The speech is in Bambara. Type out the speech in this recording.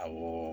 Awɔ